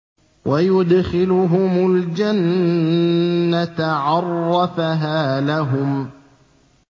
وَيُدْخِلُهُمُ الْجَنَّةَ عَرَّفَهَا لَهُمْ